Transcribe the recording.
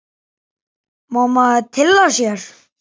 Má maður tylla sér?